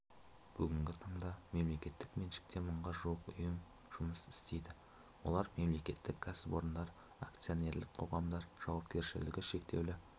бүгінгі таңда мемлекеттік меншікте мыңға жуық ұйым жұмыс істейді олар мемлекеттік кәсіпорындар акционерлік қоғамдар жауапкершілігі шектеулі